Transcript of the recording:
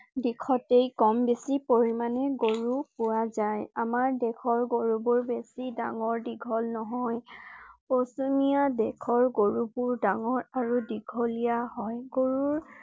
দিশতেই কম বেছি পৰিমাণে গৰু পোৱা যায়। আমাৰ দেশৰ গৰু বোৰ বেছি ডাঙৰ দীঘল নহয়। পশ্চিমীয়া দেশৰ গৰু বোৰ ডাঙৰ আৰু দীঘলীয়া হয়। গৰুৰ